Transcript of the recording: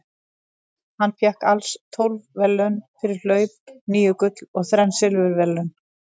Hann fékk alls tólf verðlaun fyrir hlaup, níu gull og þrenn silfurverðlaun.